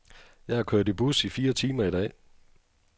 Jeg har kørt bus i fire timer i dag.